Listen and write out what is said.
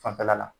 Fanfɛla la